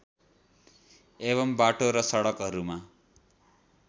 एवं बाटो र सडकहरूमा